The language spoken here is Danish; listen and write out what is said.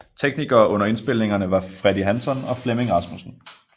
Teknikere under indspilningerne var Freddy Hansson og Flemming Rasmussen